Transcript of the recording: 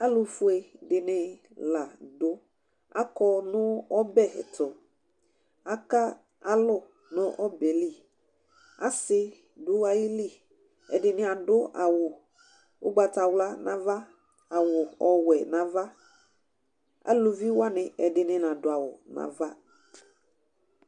Alʋ fue ɛdɩnɩ la akɔ nʋ ɔbɛ tʋAka lʋ nʋ ɔbɛ liAsɩ dʋ ayili ,ɛdɩnɩ adʋ awʋ ʊgbatawla n' ava, awʋ ɔwɛ n' avaEluvi wanɩ ɛdɩnɩ nadʋ awʋ n'ava